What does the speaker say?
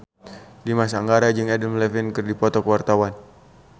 Dimas Anggara jeung Adam Levine keur dipoto ku wartawan